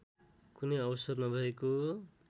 कुनै अवसर नभएको